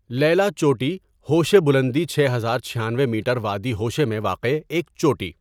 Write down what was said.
لیلی چوٹی ہوشے بلندی چھ ہزار چھیانوے میٹر وادی ہوشے میں واقع ایک چوٹی.